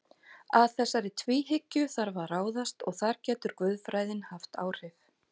Að þessari tvíhyggju þarf að ráðast og þar getur guðfræðin haft áhrif.